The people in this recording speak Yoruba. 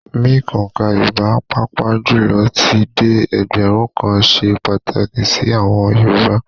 Mímc òǹkà Yorùbá, pàápàá jùlọ títí dé ẹgbẹ̀rún kan ṣe pàtàkì sí àwọn Yorùbá